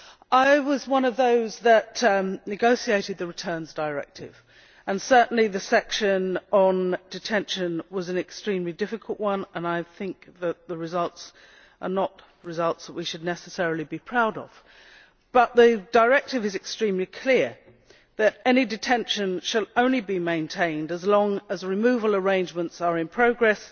I was one of those who negotiated the Return Directive. Certainly the section on detention was an extremely difficult one and I think that the results are not results which we should necessarily be proud of, but the directive is extremely clear that any detention shall only be maintained as long as removal arrangements are in progress